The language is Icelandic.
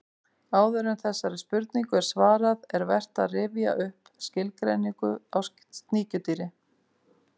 Áður en þessari spurningu er svarað er vert að rifja upp skilgreiningu á sníkjudýri.